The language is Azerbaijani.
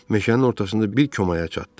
Meşənin ortasında bir komaya çatdı.